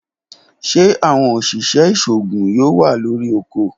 Ṣe awọn oṣiṣẹ iṣoogun yoo wa lori ọkọ?